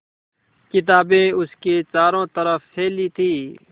किताबें उसके चारों तरफ़ फैली थीं